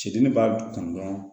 Cidili b'a kanu dɔrɔn